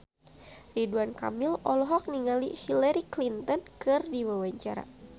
Ridwan Kamil olohok ningali Hillary Clinton keur diwawancara